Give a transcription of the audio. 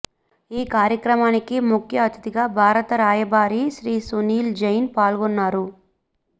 ఈ కార్యక్రమానికి ముఖ్య అతిధిగా భారత రాయభారి శ్రీ సునిల్ జైన్ పాల్గొన్నారు